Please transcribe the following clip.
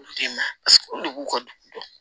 Olu den na olu de b'u ka dugu dɔn